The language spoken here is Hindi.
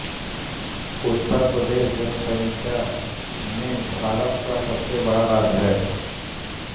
उत्तर प्रदेश जनसंख्या में भारत का सबसे बड़ा राज्य है